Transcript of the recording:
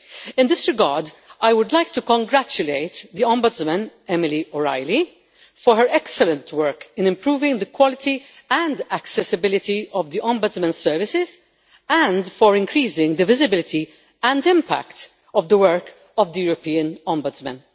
In this regard, I would like to congratulate the Ombudsman, Emily O'Reilly, for her excellent work in improving the quality and accessibility of the Ombudsman's services and for increasing the visibility and impact of the work of the European Ombudsman.